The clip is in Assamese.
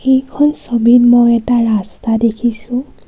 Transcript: এইখন ছবিত মই এটা ৰাস্তা দেখিছোঁ।